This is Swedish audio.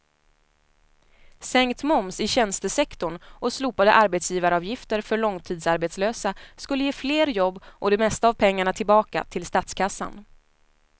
Sänkt moms i tjänstesektorn och slopade arbetsgivaravgifter för långtidsarbetslösa skulle ge fler jobb och det mesta av pengarna tillbaka till statskassan.